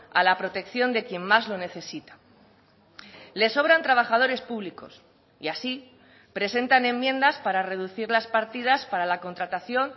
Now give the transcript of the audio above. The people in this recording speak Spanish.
a la protección de quien más lo necesita les sobran trabajadores públicos y así presentan enmiendas para reducir las partidas para la contratación